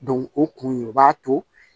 o kun ye o b'a to